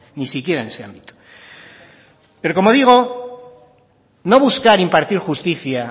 ni siquiera en ese ámbito pero como digo no buscar impartir justicia